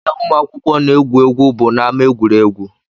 Ebe ụmụ akwụkwọ na-egwu egwu bụ n'ámá egwuregwu